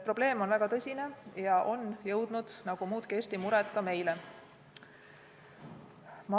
Probleem on väga tõsine ja on jõudnud nagu muudki Eesti mured ka meie ametkonna töölauale.